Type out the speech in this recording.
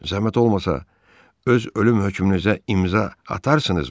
Zəhmət olmasa öz ölüm hökmünüzə imza atarsınızmı?